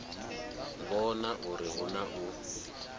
vhona uri hu na u